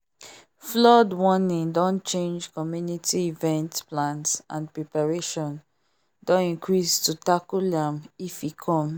flood warning don change community event plans and preparation don increase to tackle am if e come